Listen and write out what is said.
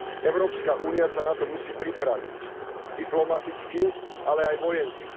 Európska únia sa na to musí pripraviť, diplomaticky, ale aj vojensky.